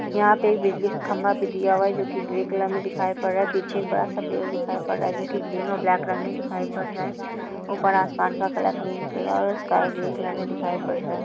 यहाँ पे एक बिजली का खम्बा भी दिया हुआ है जो की ग्रे कलर मे दिखाई पर रहा है| पीछे एक बडा सा पेड़ भी दिखाई पर रहा है जो की ग्रीन और ब्लैक कलर मे दिखाई पर रहा है| ऊपर असमान का कलर ग्रीन कलर और स्काई ग्रीन कलर मे दिखाई पड रहा है।